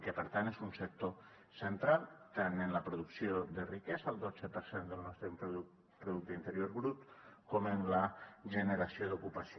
i que per tant és un sector central tant en la producció de riquesa el dotze per cent del nostre producte interior brut com en la generació d’ocupació